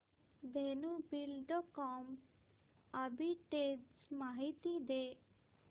Dhenu Buildcon arbitrage माहिती दे